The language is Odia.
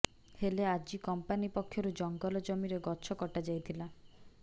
ହେଲେ ଆଜି କମ୍ପାନି ପକ୍ଷରୁ ଜଙ୍ଗଲ ଜମିରେ ଗଛ କଟାଯାଇଥିଲା